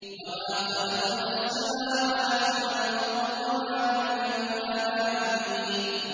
وَمَا خَلَقْنَا السَّمَاوَاتِ وَالْأَرْضَ وَمَا بَيْنَهُمَا لَاعِبِينَ